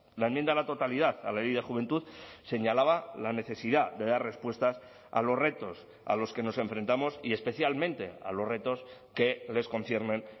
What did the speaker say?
la enmienda a la totalidad a la ley de juventud señalaba la necesidad de dar respuestas a los retos a los que nos enfrentamos y especialmente a los retos que les conciernen